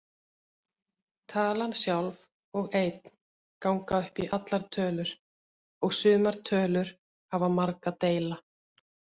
Talan sjálf og einn ganga upp í allar tölur og sumar tölur hafa marga deila.